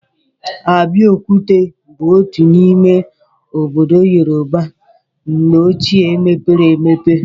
Abeokuta bụ otu n'ime obodo Yorùbá mgbe ọchịe mepere emepe.